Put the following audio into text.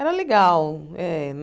Era legal. Eh